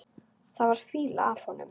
Það var fýla af honum.